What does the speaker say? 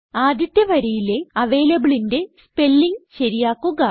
ആദ്യത്തെ വരിയിലെ avalableന്റെ സ്പെല്ലിംഗ് ശരിയാക്കുക